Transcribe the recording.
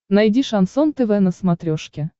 найди шансон тв на смотрешке